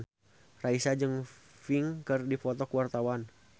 Raisa jeung Pink keur dipoto ku wartawan